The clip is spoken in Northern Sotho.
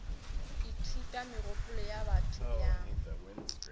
ithuta megopolo ya batho bjang